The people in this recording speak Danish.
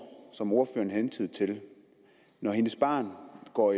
som ordføreren hentydede til når hendes barn går